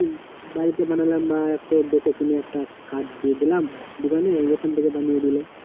বাড়িতে বানালাম বা একটু দেখেশুনে একটা কাঠ দিয়ে দিলাম দোকানে, ওখান থাকে বানিয়ে দিল